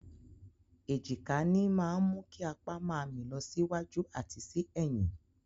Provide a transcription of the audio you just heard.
Èjìká ní máa mú kí apa máa mì lọ sí wájú àti sí ẹ̀yìn.